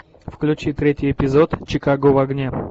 включи третий эпизод чикаго в огне